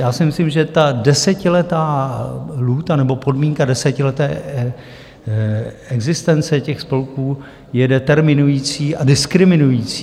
Já si myslím, že ta desetiletá lhůta, nebo podmínka desetileté existence těch spolků je determinující a diskriminující.